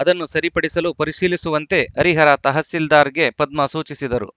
ಅದನ್ನು ಸರಿಪಡಿಸಲು ಪರಿಶೀಲಿಸುವಂತೆ ಹರಿಹರ ತಹಶೀಲ್ದಾರ್‌ಗೆ ಪದ್ಮಾ ಸೂಚಿಸಿದರು